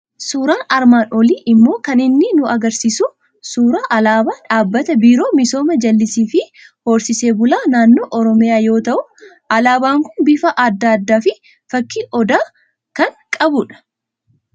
Suuraan armaan olii immoo kan inni nu argisiisu suuraa alaabaa Dhaabbata Biiroo Misoomaa Jallisii fi Horsisee Bulaa Naannoo Oromiyaa yoo ta'u, alaabaan kun bifa adda addaa fi fakkii odaa kan qabudha.